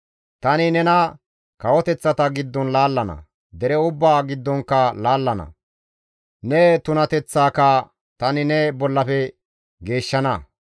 Tani nena kawoteththata giddon laallana; dere ubbaa giddonkka laallana; ne tunateththaaka tani ne bollafe geeshshana.